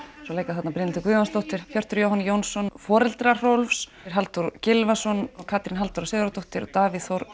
svo leika þarna Brynhildur Guðjónsdóttir Hjörtur Jóhann Jónsson foreldra Rolf Halldór Gylfason Katrín Halldóra Sigurðardóttir og Davíð Þór